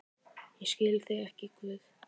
Ég skil þig ekki, Guð.